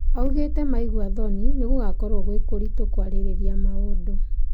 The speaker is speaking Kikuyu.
Augĩte maigua thoni nĩ gũkoragwo gwĩ kũritũ kwarĩrĩria maũndũ.